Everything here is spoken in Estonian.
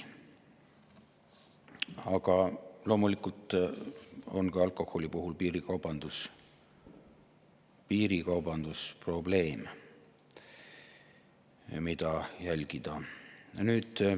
Aga loomulikult on ka alkoholi puhul piirikaubandus probleem, mida jälgida.